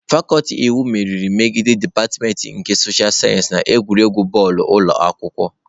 Fakuti iwu meriri megide dipatịmentị nke soshal sayensị na egwuregwu bọọlụ ụlọ akwụkwọ.